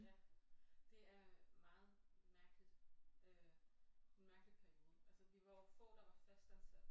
Ja det er meget mærkeligt øh en mærkelig periode altså vi var få der var fastansatte